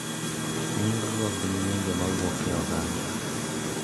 Nying’go gin nyinge mawuok e oganda.